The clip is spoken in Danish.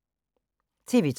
TV 2